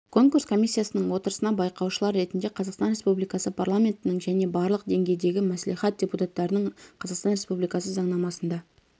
конкурс комиссиясының отырысына байқаушылар ретінде қазақстан республикасы парламентінің және барлық деңгейдегі мәслихат депутаттарының қазақстан республикасы заңнамасында